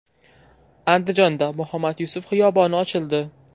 Andijonda Muhammad Yusuf xiyoboni ochildi.